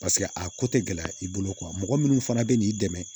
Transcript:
Paseke a ko tɛ gɛlɛya i bolo mɔgɔ minnu fana bɛ n'i dɛmɛ